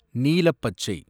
நீலப்பச்சை